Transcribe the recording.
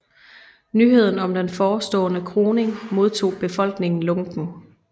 Nyheden om den forstående kroning modtog befolkningen lunkent